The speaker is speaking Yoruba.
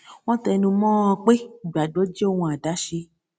wón tẹnu mó ọn pé ìgbàgbó jẹ ohun àdáṣe